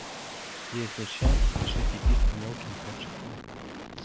если что пишите письма мелким почерком